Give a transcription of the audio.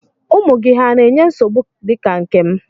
Ụmụ gị hà na-enye nsogbu dị ka nke m?